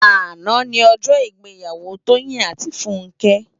Àná ni òjò igbèyàwó Toyin áti Funke